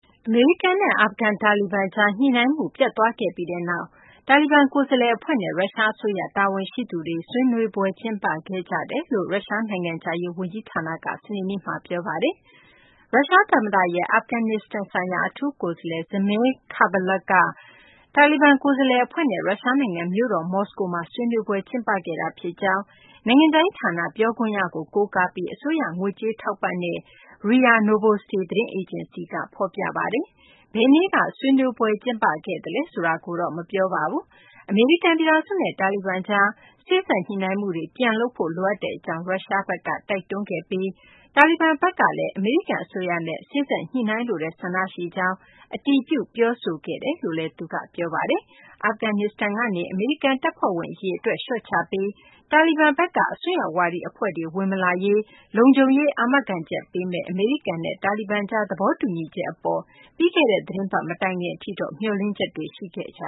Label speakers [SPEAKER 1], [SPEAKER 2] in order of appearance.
[SPEAKER 1] အမေရိကန်နဲ့ အာဖဂန် တာလီဘန်ကြား ညှိနှိုင်းမှု ပျက်သွားခဲ့ပြီးနောက် တာလီဘန် ကိုယ်စားလှယ်အဖွဲ့နဲ့ ရုရှားအစိုးရ တာဝန်ရှိသူတွေ ဆွေးနွေးပွဲ ကျင်းပခဲ့ကြောင်း ရုရှား နိုင်ငံခြားရေးဝန်ကြီးဌာနက စနေနေ့မှာ ပြောဆိုပါတယ်။ ရုရှားသမ္မတရဲ့ အာဖဂန်နစ္စတန်ဆိုင်ရာ အထူးကိုယ်စားလှယ် Zamir Kabulov က တာလီဘန် ကိုယ်စားလှယ်အဖွဲ့နဲ့ ရုရှားနိုင်ငံ မြို့တော် မော်စကိုမှာ ဆွေးနွေးပွဲ ကျင်းပခဲ့တာဖြစ်ကြောင်း နိုင်ငံခြားရေးဌာန ပြောခွင့်ရကို ကိုးကားပြီး အစိုးရ ငွေကြေးထောက်ပံ့တဲ့ RIA Novosti သတင်းအေဂျင်စီက ဖော်ပြပါတယ်။ ဘယ်နေ့က ဆွေးနွေးပွဲ ကျင်းပခဲ့သလဲ ဆိုတာကိုတော့ မပြောပါဘူး။ အမေရိကန်ပြည်ထောင်စုနဲ့ တာလီဘန်အဖွဲ့ကြား စေ့စပ်ညှိနှိုင်းမှုတွေ ပြန်လုပ်ဖို့ လိုအပ်ကြောင်း ရုရှားဘက်က တိုက်တွန်းခဲ့တယ်လို့လည်း ပြောခွင့်ရက ပြောပါတယ်။ တာလီဘန်ဘက်ကလည်း အမေရိကန်အစိုးရနဲ့ စေ့စပ်ညှိနှိုင်းလိုတဲ့ ဆန္ဒရှိကြောင်း အတည်ပြု ပြောဆိုခဲ့တယ်လို့လည်း သူက ပြောပါတယ်။ အာဖဂန်နစ္စတန်ကနေ အမေရိကန်တပ်ဖွဲ့ဝင် အရေအတွက် လျှော့ချပြီး တာလီဘန်ဘက်က အစွန်းရောက်ဝါဒီ အဖွဲ့တွေ ဝင်မလာရေး လုံခြုံရေး အာမခံချက်ပေးမယ့် အမေရိကန်နဲ့ တာလီဘန်ကြား သဘောတူညီချက်အပေါ် ပြီးခဲ့တဲ့ သီတင်းပတ်မတိုင်ခင်ထိ မျှော်လင့်ချက်တွေ ရှိခဲ့ကြ